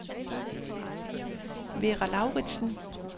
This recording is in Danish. Vera Lauritzen